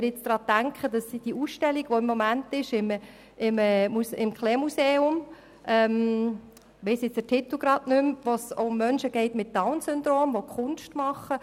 Im Museum Paul Klee findet gerade eine Ausstellung statt, deren Titel mir entfallen ist, bei welcher es um Menschen mit Down-Syndrom geht, die Kunst machen.